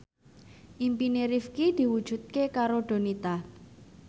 impine Rifqi diwujudke karo Donita